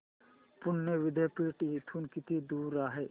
पुणे विद्यापीठ इथून किती दूर आहे